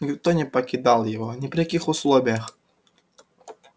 никто не покидал его ни при каких условиях